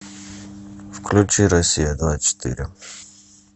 включи россия двадцать четыре